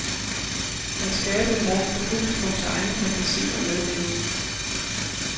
At skabe et rum for publikums egen fantasi og medleven.